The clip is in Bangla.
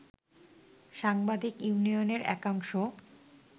সাংবাদিক ইউনিয়নের একাংশ